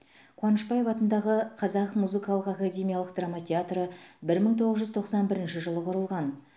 қуанышбаев атындағы қазақ музыкалық академиялық драма театры бір мың тоғыз жүз тоқсан бірінші жылы құрылған